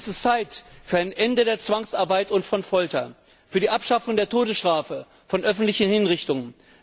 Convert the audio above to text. Es ist Zeit für ein Ende der Zwangsarbeit und von Folter, für die Abschaffung der Todesstrafe, von öffentlichen Hinrichtungen.